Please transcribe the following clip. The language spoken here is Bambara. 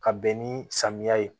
Ka bɛn ni samiya ye